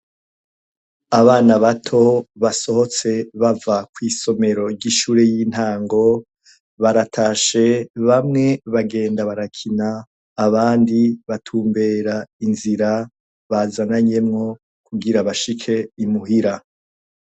Abana bato basohotse bava kw'isomero ry'ishure y'intango, baratashe bamwe bagenda barakina, abandi batumbera inzira bazananyemwo kugira bishike imuhira.